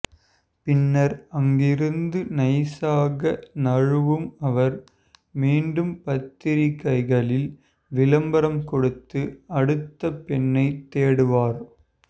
பின்னர் அங்கிருந்து நைசாக நழுவும் அவர் மீண்டும் பத்திரிக்கைகளில் விளம்பரம் கொடுத்து அடுத்த பெண்ணை தேடுவார்